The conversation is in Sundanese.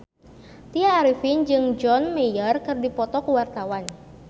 Tya Arifin jeung John Mayer keur dipoto ku wartawan